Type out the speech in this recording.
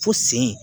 Fo sen